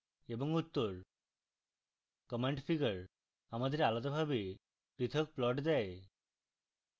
এবং উত্তর